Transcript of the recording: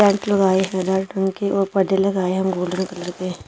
Tent लगाए हैं red रंग के और पर्दे लगाए हैं गोल्डन कलर के।